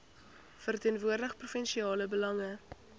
verteenwoordig provinsiale belange